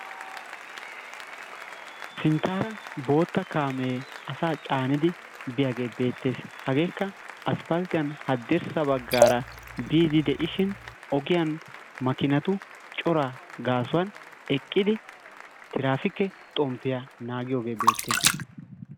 Sintaara bootta kaamee asaa caanidi biyagee beetees. Hageekka asphalttiyan hadirssa bagaara biidi de'ishin ogiyan makkinatu coraa gaasuwan eqqidi tiraafikke xomppiya naagiyoge beetees.